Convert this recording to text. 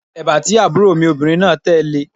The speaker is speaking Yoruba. Èbá tí àbúrò mi obìnrin náà tẹ̀ le